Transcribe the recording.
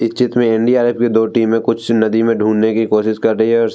इस चित्र में इंडिया रेफरी दो टीम है कुछ नदी में ढूंढ़ने की कोशिश कर रही है |